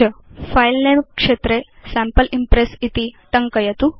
file नमे क्षेत्रे sample Impress इति टङ्कयतु